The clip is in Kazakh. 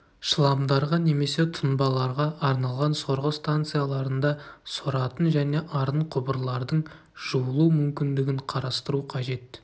шламдарға немесе тұнбаларға арналған сорғы станцияларында соратын және арын құбырлардың жуылу мүмкіндігін қарастыру қажет